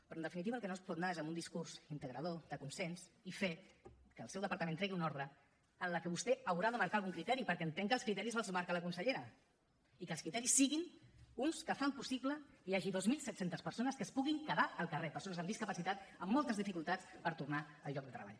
però en definitiva el que no es pot anar és amb un discurs integrador de consens i fer que el seu departament tregui una ordre en la que vostè haurà de marcar algun criteri perquè entenc que els criteris els marca la consellera i que els criteris siguin uns que fan possible que hi hagi dos mil set cents persones que es puguin quedar al carrer persones amb discapacitat amb moltes dificultats per tornar al lloc de treball